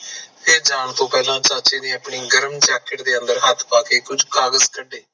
ਤੇ ਜਾਂ ਤੋਂ ਪਹਿਲਾ ਚਾਚੇ ਨੇ ਆਪਣੀ ਗਰਮ jacket ਅੰਦਰ ਹੇਠ ਪਾਕੇ ਕੁਛ ਕਾਗਜ ਕੱਢੇ